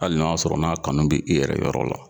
Ali n'a y'a sɔrɔ n'a kanu bi i yɛrɛ yɔrɔ la